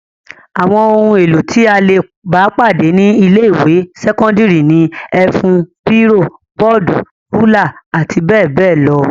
Àwọn ohun-èlò tí a le bá pàdé ní ilé-ìwé sẹ́kọ́ndárì ni; ẹ̀fún, bírò, bọ́ọ́dù, rúlà àti bẹ́ẹ̀ bẹ́ẹ̀ lọ.